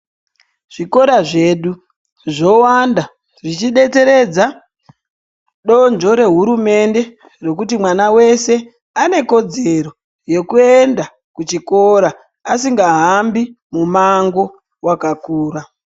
Zvikora zvedu ,zvowanda zvichidetseredza, donzvo rehurumende ,rokuti mwana wese ane kodzero yekuenda kuchikora, asingahambi mumango wakakura.